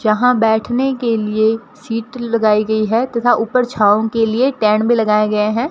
जहां बैठने के लिए सीट लगाई गई है तथा ऊपर छांव के लिए टैंड में लगाए गए हैं।